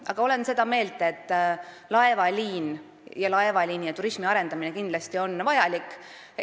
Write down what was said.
Aga olen seda meelt, et laevaliini ja turismi arendamine on kindlasti vajalik.